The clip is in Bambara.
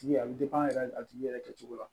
A bɛ yɛrɛ a tigi yɛrɛ kɛcogo la